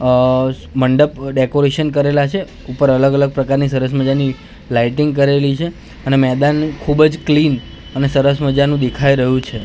અ મંડપ ડેકોરેશન કરેલા છે ઉપર અલગ અલગ પ્રકારની સરસ મજાની લાઈટિંગ કરેલી છે અને મેદાન ખુબજ ક્લીન અને સરસ મજાનું દેખાઈ રહ્યું છે.